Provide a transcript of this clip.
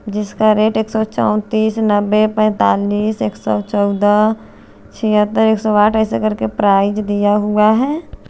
जिसका रेट एक सौ चौतीस नब्बे पैंतालिस एक सौ चौदा छिहतर एक सौ आठ करके ऐसे करके प्राइस हुआ हैं।